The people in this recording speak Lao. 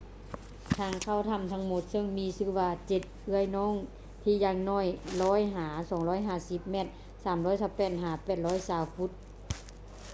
ທາງເຂົ້າຖ້ຳທັງໝົດ ເຊິ່ງມີຊື່ວ່າ ເຈັດເອື້ອຍນ້ອງ” ທີ່ຢ່າງໜ້ອຍ 100 ຫາ 250 ແມັດ 328 ຫາ 820 ຟຸດ